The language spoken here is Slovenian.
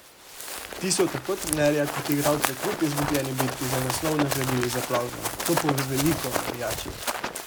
Ti so tako trenerja kot igralce kljub izgubljeni bitki za naslov nagradili z aplavzom: "To pove veliko o navijačih.